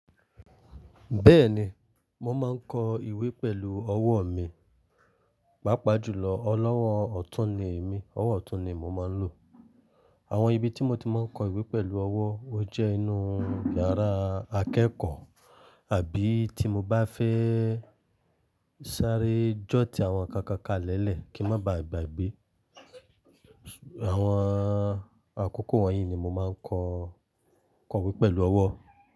Bẹ́ẹ̀ni, mo máa ń kọ ìwé pẹ̀lú ọwọ́ mi, pàápàá jùlọ ọlọ́wọ́ ọ̀tún ni emi, ọwọ́ ọ̀tún ni mo máa ń lò. Àwọn ibi tí mo ti máa ń kọ ìwé pẹ̀lú ọwọ́, ó jẹ́ inú yàrá akẹ́kọ̀ọ́ àbí tí mo bá fẹ́ sáré jó ti àwọn nǹkan kan kalẹ̀ẹ́lẹ̀ kí má ba à gba ìgbẹ́. Àwọn àkókò wọ̀nyí ni mo máa ń kọ ìwé pẹ̀lú ọwọ́